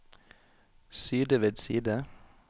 side ved side